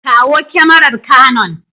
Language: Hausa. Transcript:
Kawo kyamarar canon.